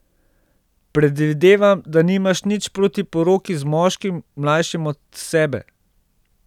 Predvidevam, da nimaš nič proti poroki z moškim, mlajšim od sebe?